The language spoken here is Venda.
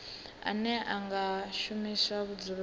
ane a nga shumiswa vhudzuloni